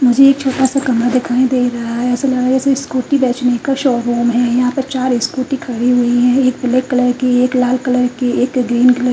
मुझे एक छोटासा कमरा दिखाई दे रहा है ऐसा लग रहा है जैसे स्कूटी बेचने का शोरूम है यहां पर चार स्कूटी खड़ी हुई हैं एक पीले कलर की एक लाल कलर की एक ग्रीन कलर --